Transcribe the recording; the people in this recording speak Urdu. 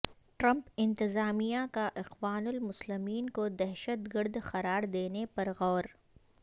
ٹرمپ انتظامیہ کا اخوان المسلمین کو دہشت گرد قرار دینے پر غور